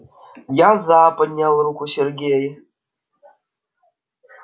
я за поднял руку сергей